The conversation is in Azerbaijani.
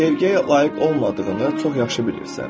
Sevgiyə layiq olmadığını çox yaxşı bilirsən.